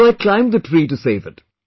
So I climbed the tree to save it